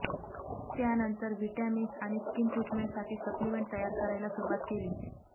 त्यानंतर व्हिटॅमिन्स आणि स्कीन ट्रीटमेंटसाठी सप्लिमेंट तयार करायला सुरूवात केली